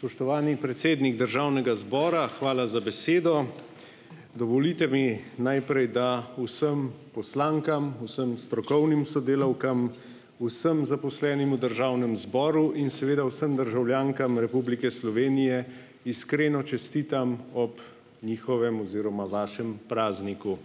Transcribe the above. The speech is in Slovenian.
Spoštovani predsednik državnega zbora, hvala za besedo, dovolite mi najprej, da vsem poslankam, vsem strokovnim sodelavkam, vsem zaposlenim v državnem zboru in seveda vsem državljankam Republike Slovenije iskreno čestitam ob njihovem oziroma vašem prazniku,